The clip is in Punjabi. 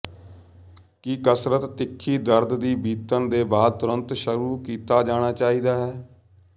ਕੀ ਕਸਰਤ ਤਿੱਖੀ ਦਰਦ ਦੀ ਬੀਤਣ ਦੇ ਬਾਅਦ ਤੁਰੰਤ ਸ਼ੁਰੂ ਕੀਤਾ ਜਾਣਾ ਚਾਹੀਦਾ ਹੈ